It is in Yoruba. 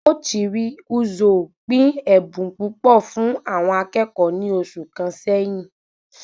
Ochiri Ozuo pín ẹbùn púpọ̀ fún àwọn akẹ́kọ̀ọ́ ní oṣù kàn sẹyìn